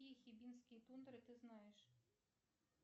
какие хибинские тундры ты знаешь